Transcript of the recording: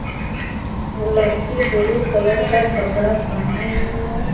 लड़की blue colour का कपड़ा पहने हुई है।